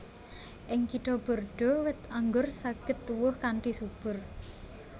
Ing Kitha Bordeaux wit anggur saged tuwuh kanthi subur